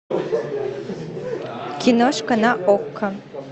киношка на окко